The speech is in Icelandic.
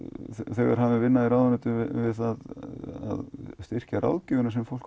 þegar hafin vinna í ráðuneytinu að styrkja ráðgjöf sem fólk